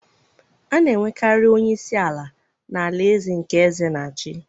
a na-enwekarị onye isi ala n’alaeze nke eze na-achị.